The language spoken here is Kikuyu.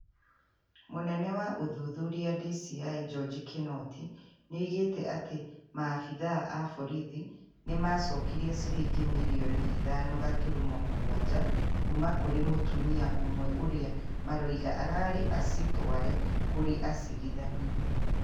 Munene wa uthuthuria (DCĩ) Njonji Kinoti niaugĩte ati maabithaa a borithi nimacokirie ciringi mirioni ithano gaturumo mũgwanja kuuma kuri mutumia umwe uria marauga ararĩ acitware kuri acirithania.